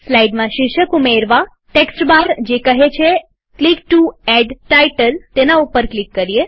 સ્લાઈડમાં શીર્ષક ઉમેરવાટેક્સ્ટ બાર જે કહે છે ક્લિક ટુ એડ ટાઈટલ તેના ઉપર ક્લિક કરીએ